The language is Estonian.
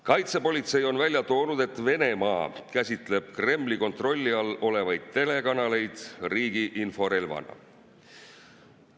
Kaitsepolitsei on välja toonud, et Venemaa käsitleb Kremli kontrolli all olevaid telekanaleid riigi inforelvana.